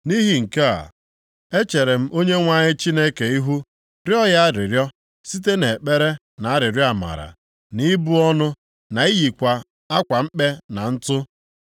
Nʼihi nke a, echere m Onyenwe anyị Chineke ihu, rịọ ya arịrịọ, site nʼekpere na arịrịọ amara, nʼibu ọnụ, na iyikwa akwa mkpe na ntụ.